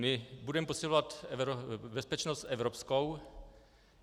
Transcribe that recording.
My budeme posilovat bezpečnost evropskou.